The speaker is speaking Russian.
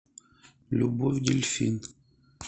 любовь дельфин